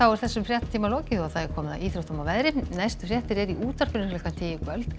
þessum fréttatíma er lokið og komið að íþróttum og veðri næstu fréttir eru í útvarpinu klukkan tíu í kvöld